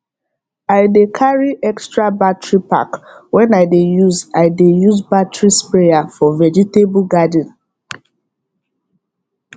i dey carry extra battery pack when i dey use i dey use battery sprayer for vegetable garden